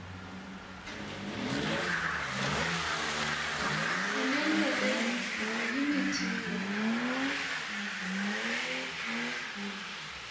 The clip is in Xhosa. unento embi ayimithiyo